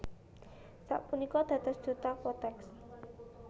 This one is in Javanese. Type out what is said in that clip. Sapunika dados duta Kotex